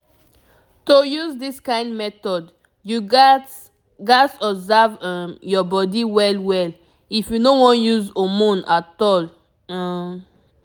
to use this kind method you gats gats observe um your body well well if you no wan use hormone at all um